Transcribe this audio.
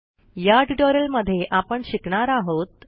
ह्या ट्युटोरियलमध्ये आपण शिकणार आहोत